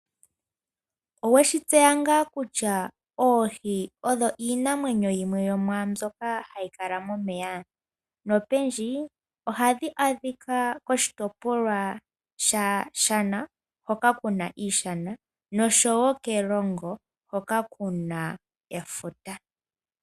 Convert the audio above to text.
Oweshi tseya ngaa kutya oohi odho iinamwenyo yimwe yomwaambyoka hayi kala momeya? Nopendji ohadhi adhika koshitopolwa shaShana hoka ku na iishana nosho wo kErongo hoka ku na efuta.